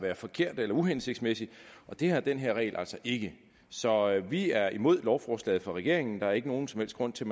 være forkert eller uhensigtsmæssig det har den her regel altså ikke så vi er imod lovforslaget fra regeringen der er ikke nogen som helst grund til